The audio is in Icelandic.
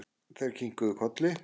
Þeir kinkuðu kolli.